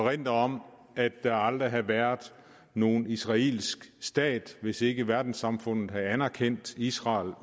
erindre om at der aldrig havde været nogen israelsk stat hvis ikke verdenssamfundet havde anerkendt israel